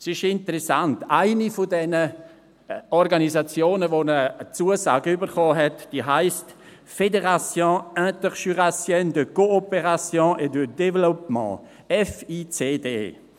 Es ist interessant, eine von diesen Organisationen, die eine Zusage erhalten hat, heisst «Fédération interjurassienne de Coopération et de Développement (FICD)».